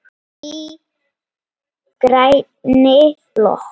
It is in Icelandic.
Í grænni blokk